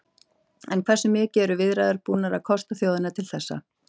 En hversu mikið eru viðræðurnar búnar að kosta þjóðina til þessa?